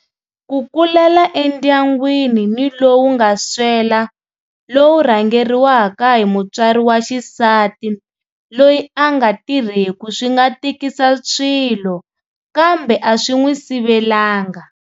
Ku kulela endyangwini ni lowu nga swela lowu rhangeriwaka hi mutswari wa xisati loyi a nga tirheku swi nga tikisa swilo kambe a swi n'wi sivelanga.